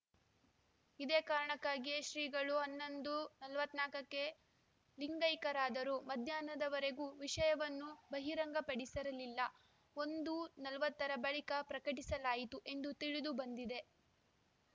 ಇದೇ ಕಾರಣಕ್ಕಾಗಿಯೇ ಶ್ರೀಗಳು ಹನ್ನೊಂದು ನಲವತ್ತ್ ನಾಕ್ಕ ಕ್ಕೆ ಲಿಂಗೈಕ್ಯರಾದರೂ ಮಧ್ಯಾಹ್ನದ ವರೆಗೂ ವಿಷಯವನ್ನು ಬಹಿರಂಗ ಪಡಿಸಿರಲಿಲ್ಲ ಒಂದು ನಲವತ್ತ ರ ಬಳಿಕ ಪ್ರಕಟಿಸಲಾಯಿತು ಎಂದು ತಿಳಿದು ಬಂದಿದೆ